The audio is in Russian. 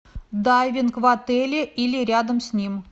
дайвинг в отеле или рядом с ним